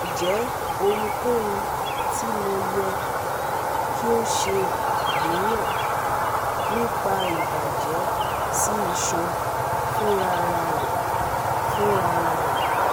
Njẹ ohunkohun ti MO yẹ ki o ṣe aniyan nipa ibajẹ si isan funrararẹ funrararẹ